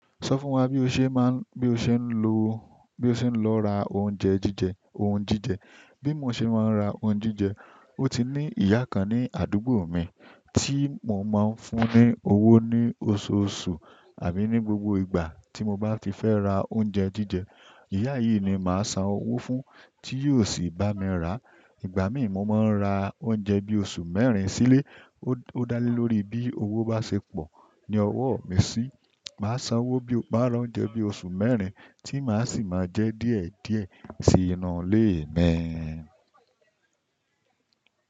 Sọ fún wa bí o ṣe máa ń, bí o ṣe ń lo, bí o ṣe ń lọ ra oúnjẹ jíjẹ, ohun jíjẹ. Bí mo ṣe máa ń ra ohun jíjẹ, ó ti ní ìyá kan ní àdúgbò mi tí mo máa ń fún ní owó ní oṣooṣù àbí ní gbogbo ìgbà tí mo bá ti fẹ́ ra oúnjẹ jíjẹ. Ìyá yìí ni màá san owó fún tí yóò sì bá mi rà. Ìgbà míì mo máa ń ra oúnjẹ bí oṣù mẹ́rin sílé. Ó dá lé lórí bí owó bá ṣe pọ̀ ní ọwọ́ mi sì. Màá san owó bí, máa ra oúnjẹ bí oṣù mẹ́rin tí màá sì máa jẹ díẹ̀díẹ̀ sí inú ilé mi.